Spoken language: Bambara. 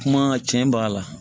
Kuma cɛn ba la